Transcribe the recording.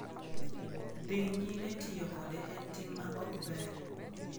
Dhi nyime tiyo kode en tim ma ok ber.